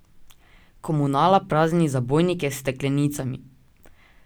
Komunala prazni zabojnike s steklenicami.